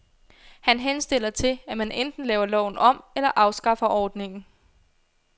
Han henstiller til, at man enten laver loven om eller afskaffer ordningen.